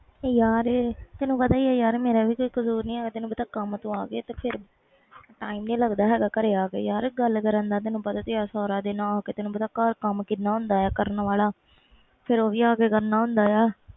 ਯਾਰ ਤੈਨੂੰ ਪਤਾ ਹੀ ਆ ਮੇਰਾ ਵੀ ਕਸੂਰ ਨਹੀਂ ਹੈ ਗਏ ਕੰਮ ਤੋਂ ਆ ਕੇ time ਨਹੀਂ ਲੱਗਦਾ ਹੈ ਗਏ ਘਰੇ ਆ ਕੇ ਗੱਲ ਕਰਨ ਦਾ ਤੈਨੂੰ ਪਤਾ ਤੇ ਹੈ ਬਾਅਦ ਵਿਚ ਘਰ ਕੰਮ ਕਿੰਨਾ ਹੁੰਦਾ ਆ ਕਰਨ ਵਾਲਾ ਫਿਰ ਹੋ ਵੀ ਆ ਕੇ ਕਰਨਾ ਹੁੰਦਾ ਵ